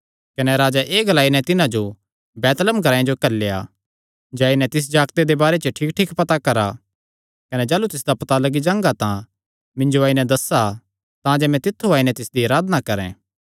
कने राजैं एह़ ग्लाई नैं तिन्हां जो बैतलहम ग्रांऐ जो घल्लेया जाई नैं तिस जागते दे बारे च ठीकठीक पता करा कने जाह़लू तिसदा पता लग्गी जांगा तां मिन्जो आई नैं दस्सा तांजे मैं भी तित्थु आई नैं तिसदी अराधना करैं